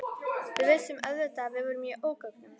Við vissum auðvitað að við vorum í ógöngum.